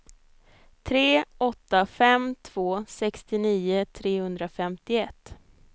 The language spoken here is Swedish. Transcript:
tre åtta fem två sextionio trehundrafemtioett